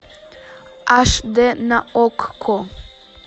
аш дэ на окко